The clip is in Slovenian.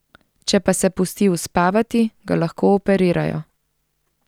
Če pa se pusti uspavati, ga lahko operirajo.